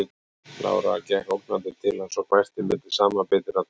Lára gekk ógnandi til hans og hvæsti milli samanbitinna tanna